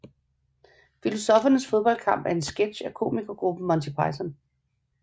Filosoffernes Fodboldkamp er en sketch af komikergruppen Monty Python